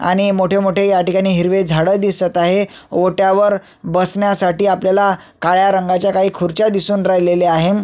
आणि मोठे मोठे ह्या ठिकाणी हिरवे झाड दिसत आहे ओट्यावर बसण्यासाठी आपल्याला काही काळ्या रंगाच्या खुर्च्या दिसून राहिल्या आहेत.